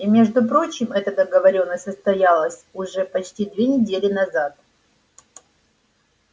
и между прочим эта договорённость состоялась уже почти две недели назад